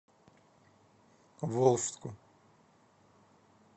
волжску